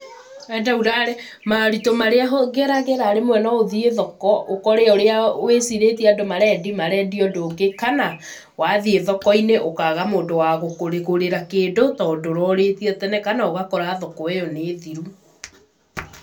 Enda ulale, Ma ũrĩtũ marĩa ngeragĩra rĩmwe no uthiĩ thoko ũkore ũrĩa wĩcirĩtie andũ marendia, marendia ũndũ ũngĩ, kana wathiĩ thoko-inĩ ũkaga mũndũ wa gũkũgũrĩra kĩndũ, tondũ ndũrorĩtie tene, kana ũgakora thoko ĩyo nĩ thiru.